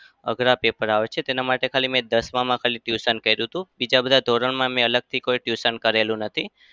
અઘરા paper આવે છે. તેના માટે ખાલી મેં દસમાં માં ખાલી tuition કર્યુ હતું. બીજા બધા ધોરણમાં મેં અલગથી કોઈ tuition કરેલું નથી.